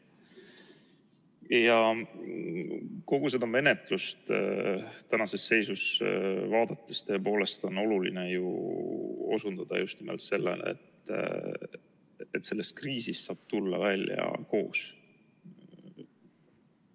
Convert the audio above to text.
Kogu seda menetlust vaadates on tõepoolest oluline osutada just nimelt sellele, et sellest kriisist saab tulla välja koos.